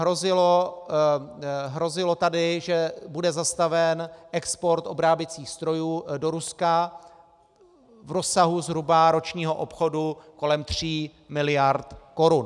Hrozilo tady, že bude zastaven export obráběcích strojů do Ruska v rozsahu zhruba ročního obchodu kolem tří miliard korun.